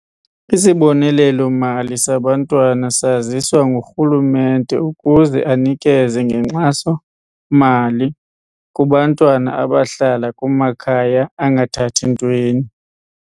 Isibonelelo-mali sabantwana saziswa ngurhulumente ukuze anikeze ngenkxaso-mali kubantwana abahlala kumakhaya angathathintweni.